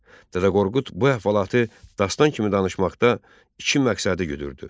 Dədə Qorqud bu əhvalatı dastan kimi danışmaqda iki məqsədi güdürdü.